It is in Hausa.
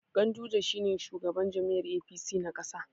Ganduje shi ne shugaban jam'iyyar APC na ƙasa.